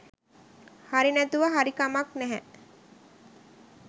හරි නැතුව හරි කමක් නැහැ